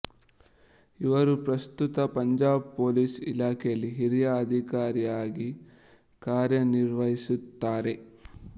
ಇವರು ಪ್ರಸ್ತುತ ಪಂಜಾಬ್ ಪೋಲಿಸ್ ಇಲಾಖೆಯಲ್ಲಿ ಹಿರಿಯ ಅಧಿಕಾರಿಯಾಗಿ ಕಾರ್ಯನಿರ್ವಹಿಸುತ್ತಾರೆ